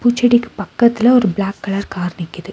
பூச்செடிக்கு பக்கத்துல ஒரு black colour car நிக்கிது.